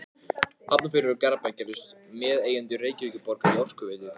Hafnarfjörður og Garðabær gerðust meðeigendur Reykjavíkurborgar í Orkuveitu